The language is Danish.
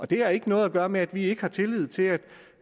det har ikke noget at gøre med at vi ikke har tillid til at